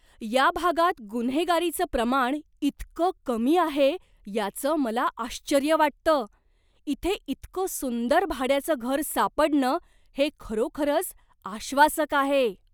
या भागात गुन्हेगारीचं प्रमाण इतकं कमी आहे याचं मला आश्चर्य वाटतं! इथे इतकं सुंदर भाड्याचं घर सापडणं हे खरोखरच आश्वासक आहे.